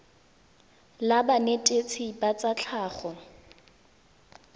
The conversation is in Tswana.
la banetetshi ba tsa tlhago